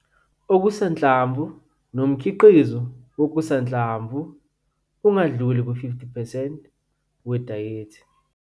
Okusanhlamvu nomkhiqizo wokusanhlamvu ungadluli ku-50 percent wedayethi